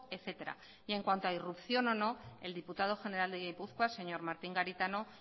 etcétera y en cuanto a irrupción o no el diputado general de gipuzkoa señor martín garitano